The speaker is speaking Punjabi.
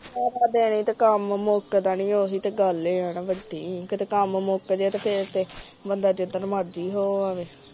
ਸਾਰਾ ਦਿਨ ਤੇ ਕਾਮ ਮੁਕਦਾ ਏ ਨੀ ਇਹੀਓ ਤਾ ਗੱਲ ਏ ਨਾ ਵੱਡੀ ਕੀਤੇ ਕਾਮ ਮੁਕਜੇ ਤਾ ਬੰਦਾ ਜਿੰਦਰ ਮਰਜੀ ਹੋ ਆਵੇ